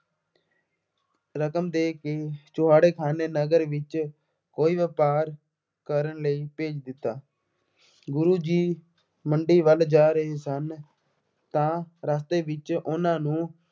ਰਕਮ ਦੇ ਕੇ ਚੂਹੜਕਾਣੇ ਨਗਰ ਵਿੱਚ ਕੋਈ ਵਪਾਰ ਕਰਨ ਲਈ ਭੇਜ ਦਿੱਤਾ। ਗੁਰੂ ਜੀ ਮੰਡੀ ਵੱਲ ਜਾ ਰਹੇ ਸਨ ਤਾਂ ਰਸਤੇ ਵਿੱਚ ਉਹਨਾ ਨੂੰ